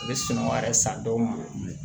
U bɛ sɔn wɛrɛ san dɔw ma